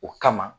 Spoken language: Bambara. O kama